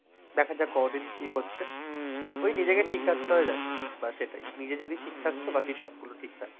দেখা যাক ক’দিন কি হচ্ছে? ঐ নিজেকে ঠিক রাখতে হয় রাখি বা সেটাই। নিজে যদি ঠিক থাকছো বাকি সবগুলো ঠিক থাকবে।